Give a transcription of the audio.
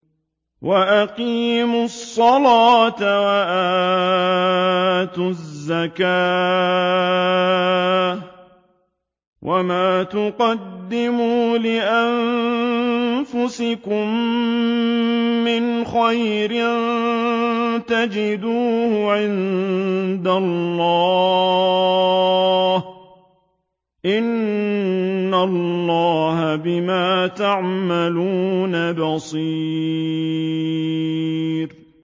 وَأَقِيمُوا الصَّلَاةَ وَآتُوا الزَّكَاةَ ۚ وَمَا تُقَدِّمُوا لِأَنفُسِكُم مِّنْ خَيْرٍ تَجِدُوهُ عِندَ اللَّهِ ۗ إِنَّ اللَّهَ بِمَا تَعْمَلُونَ بَصِيرٌ